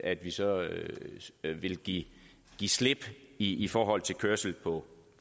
at vi så vil give slip i i forhold til kørsel på